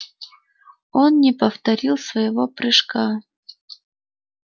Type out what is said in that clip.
он не повторил своего прыжка